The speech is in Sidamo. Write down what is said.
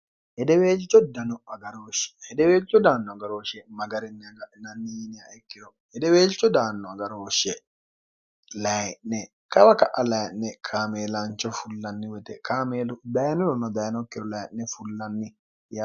hedeweelcho dano agarooshshe hedeweelchu daanno agarhooshshe magarinni haga'inanniiniha ikkeho hedeweelchu daanno agarohooshshe layi'ne kawa ka'a layi'ne kaameelaancho fullanni wete kaameelu bayinuma dayinokkihu layi'ne fullanniy